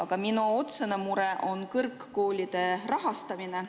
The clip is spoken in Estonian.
Aga minu otsene mure on kõrgkoolide rahastamine.